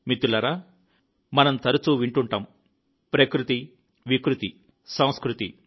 మిత్రులారా మనం తరచూ వింటుంటాం ప్రకృతి వక్రీకరణ సంస్కృతి